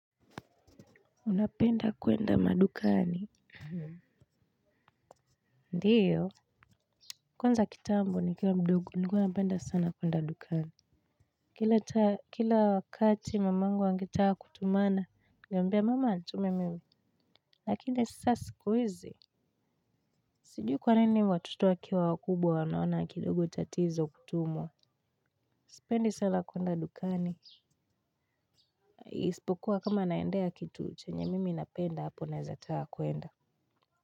Unapenda kuenda madukani? Ndiyo. Kwanza kitambo nikiwa mdogo nilikuwa napenda sana kuenda dukani. Kila wakati mamangu angetaka kutumana. Ningembia mama anitume mimi. Lakini sasa sikuizi. Sijui kwa nini watoto wakiwa wakubwa wanaona kidogo tatizo kutumwa. Sipendi sana kuenda dukani. Isipokuwa kama naendea kitu chenye mimi napenda hapo naeza taka kuenda.